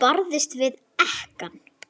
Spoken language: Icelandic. Barðist við ekkann.